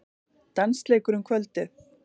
Dansleikur um kvöldið.